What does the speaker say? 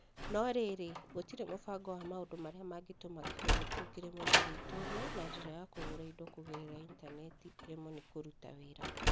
No rĩrĩ, gũtirĩ mũbango wa maũndũ marĩa mangĩtũma kĩhun kĩu kĩremwo nĩ gwĩtũũria na njĩra ya kũgũra indo kũgerera Intaneti ĩremwo nĩ kũruta wĩra.